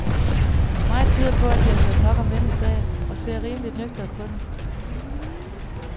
Meget tyder på, at de har hørt nok om denne sag og ser rimeligt nøgternt på den.